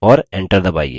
और enter दबाइए